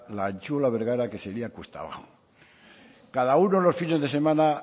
la antzuola bergara que sería cuesta abajo cada uno los fines de semana